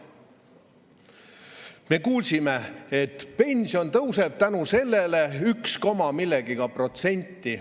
Me kuulsime, et pension tõuseb tänu sellele üks koma millegagi protsenti.